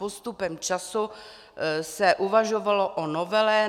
Postupem času se uvažovalo o novele.